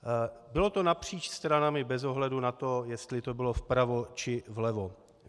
Bylo to napříč stranami, bez ohledu na to, jestli to bylo vpravo, či vlevo.